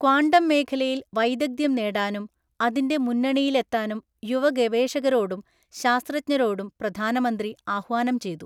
Quantum മേഖലയിൽ വൈദഗ്ധ്യം നേടാനും അതിന്റെ മുന്നണിയിലെത്താനും യുവഗവേഷകരോടും ശാസ്ത്രജ്ഞരോടും പ്രധാനമന്ത്രി ആഹ്വാനംചെയ്തു.